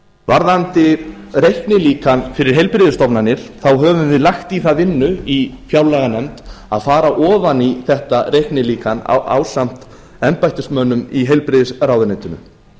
varðandi reiknilíkan fyrir heilbrigðisstofnanir þá höfum við lagt í það vinnu í fjárlaganefnd að fara ofan í þetta reiknilíkan ásamt embættismönnum í heilbrigðisráðuneytinu